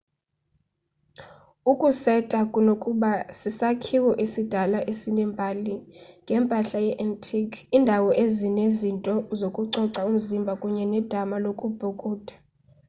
ukuseta kunokuba sisakhiwo esidala esinembali ngempahla ye-antique indawo enezinto zokucoca umzimba kunye nedama lokubhukuda